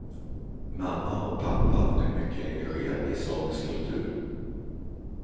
Mamma och pappa är mycket engagerade i samisk kultur.